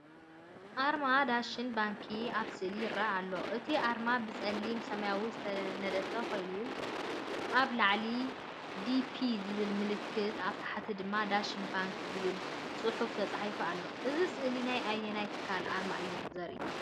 ኣርማ “ዳሸን ባንኪ” ኣብ ስእሊ ይርአ ኣሎ። እቲ ኣርማ ብጸሊምን ሰማያውን ዝተነድፈ ኮይኑ፡ ኣብ ላዕሊ “db” ዝብል ምልክት፡ ኣብ ታሕቲ ድማ “ዳሸን ባንክ” ዝብል ጽሑፍ ተጻሒፉ ኣሎ። እዚ ስእሊ ናይ ኣየናይ ትካል ኣርማ እዩ ዘርኢ?